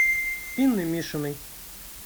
инной мишиной